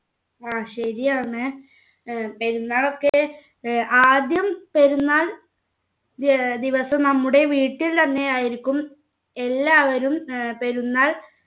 ആഹ് ശരിയാണ് ഏർ പെരുന്നാളൊക്കെ ഏർ ആദ്യം പെരുന്നാൾ ഏർ ദിവസം നമ്മുടെ വീട്ടിൽ തന്നെ ആയിരിക്കും എല്ലാവരും ഏർ പെരുന്നാൾ